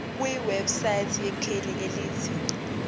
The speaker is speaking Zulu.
kwiwebsite yekheli elithi